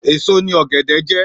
Èso ni ọ̀gẹ̀dẹ̀ jẹ́.